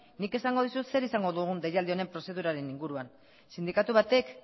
nik esango dizut zer izango dugun deialdi honen prozedura honen inguruan sindikatu baten